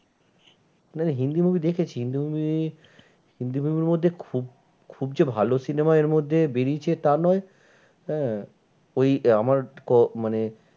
মানে হিন্দি movie দেখেছি Hindi movie Hindi movie র মধ্যে খুব, খুব যে ভালো cinema এর মধ্যে বেরিয়েছে তা নয়। আহ ওই আমার মানে